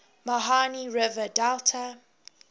mahanadi river delta